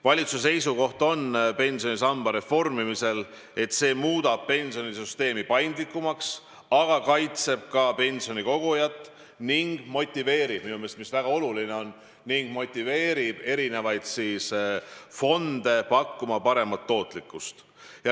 Valitsuse seisukoht pensionisamba reformimisel on, et see muudab pensionisüsteemi paindlikumaks, aga kaitseb ka pensioni kogujat ning mis minu meelest väga oluline on, motiveerib eri fonde pakkuma paremat tootlikkust.